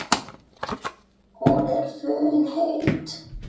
Hún er funheit.